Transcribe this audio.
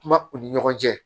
Kuma u ni ɲɔgɔn cɛ